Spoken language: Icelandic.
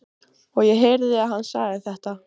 Og ég heyrði að hann sagði þetta.